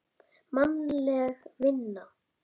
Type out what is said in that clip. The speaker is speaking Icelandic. Mannleg vinna